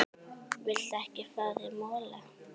Viltu ekki fá þér mola?